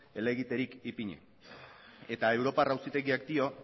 elegiterik ipini eta europar auzitegiak dio